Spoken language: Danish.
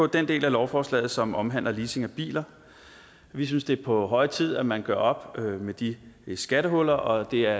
den del af lovforslaget som omhandler leasing af biler vi synes det er på høje tid at man gør op med de skattehuller og det er